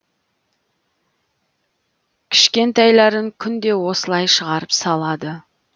кішкентайларын күнде осылай шығарып салады